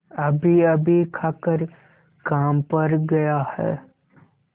अभीअभी खाकर काम पर गया है